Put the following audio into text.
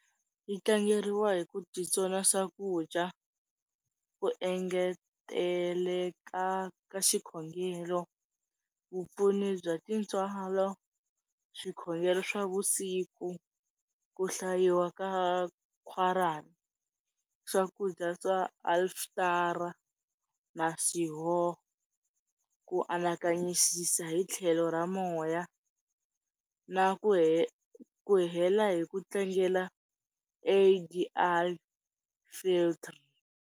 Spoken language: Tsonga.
Yi tlangeriwa hi ku titsona swakudya, ku engeteleka ka xikhongelo, vupfuni bya tintswalo, swikhongelo swa vusiku ku hlayiwa ka Quiran, swakudya swa alftar na Sihon. Ku anakanyisisa hitlhelo ra moya na ku he, hela hi ku tlangela A_D flit